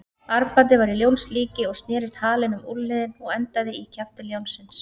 Armbandið var í ljónslíki og snerist halinn um úlnliðinn og endaði í kjafti ljónsins.